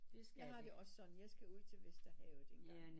Jeg har det også sådan jeg skal ud til Vesterhavet